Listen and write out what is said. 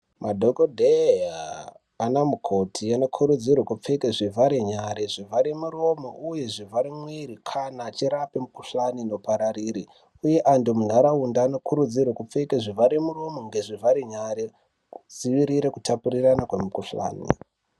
Madhokodheya ,anamukoti anokurudzirwa kupfeka zvivhare muromo nezvivhare nyara kana vachirapa mikuhlani inopararira, uye antu muntaraunda vanokurudzirwa kupfeka zvivhare muromo nezvivhare nyara kudzivirira kutapurirana kwemikuhlani.